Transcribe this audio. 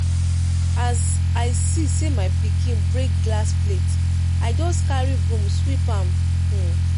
as i see sey my pikin break glass plate i just carry broom sweep am. um